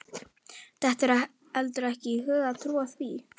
Dettur heldur ekki í hug að trúa því.